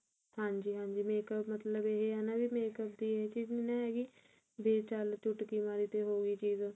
ਹਾਂਜੀ ਹਾਂਜੀ makeup ਮਤਲਬ ਇਹ ਹੈ ਨਾ ਵੀ makeup ਦੀ ਇਹ ਚੀਜ ਨੀ ਨਾ ਹੈਗੀ ਬੀ ਚੱਲ ਚੁਟਕੀ ਮਾਰੀ ਤੇ ਉਹੀ ਚੀਜ